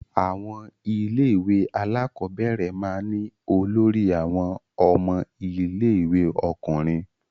Àwọn ilé-ìwé alákọ̀ọ́bẹ̀rẹ̀ máa ń ní olórí àwọn ọmọ ilé-ìwé ọkùnrin.